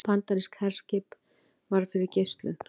Bandarískt herskip varð fyrir geislum